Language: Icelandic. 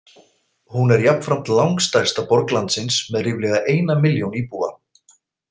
Hún er jafnframt langstærsta borg landsins með ríflega eina milljón íbúa.